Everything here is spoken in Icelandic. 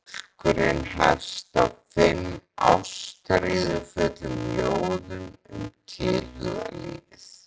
Bálkurinn hefst á fimm ástríðufullum ljóðum um tilhugalífið.